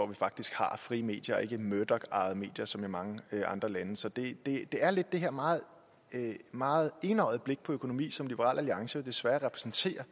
vi faktisk har frie medier og ikke murdochejede medier som i mange andre lande så det er lidt der her meget meget enøjede blik på økonomi som liberal alliance desværre repræsenterer